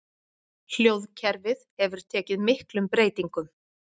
Hljóðkerfið hefur tekið miklum breytingum.